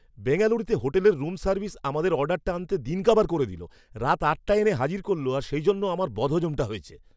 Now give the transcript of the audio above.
বেঙ্গালুরুতে হোটেলের room service আমাদের অর্ডারটা আনতে দিন কাবার করে দিল; রাত আটটায় এনে হাজির করল আর সেই জন্য আমার বদহজমটা হয়েছে!